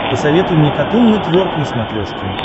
посоветуй мне катун нетворк на смотрешке